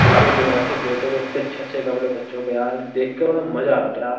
बिल्कुल मुनासिब रेटों में इतने अच्छे-अच्छे कपड़े बच्चों के यार देख के बड़ा मजा आ रहा था यार।